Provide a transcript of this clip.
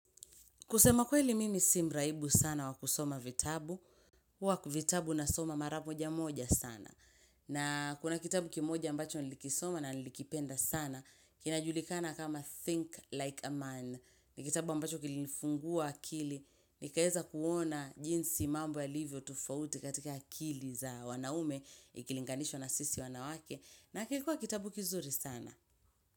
Kusema kweli mimi si mraibu sana wa kusoma vitabu, huwa vitabu nasoma mara moja moja sana. Na kuna kitabu kimoja ambacho nilikisoma na nilikipenda sana, kinajulikana kama Think Like A Man. Ni kitabu ambacho kilinifungua akili, nikaeza kuona jinsi mambo yalivyo tofauti katika akili za wanaume, ikilinganishwa na sisi wanawake, na kilikuwa kitabu kizuri sana.